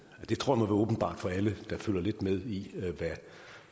det tror jeg nu er åbenbart for alle der følger lidt med i hvad